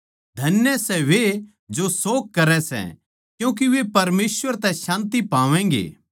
धन्य सै वे जो शोक करै सै क्यूँके वे परमेसवर तै शांति पावैगें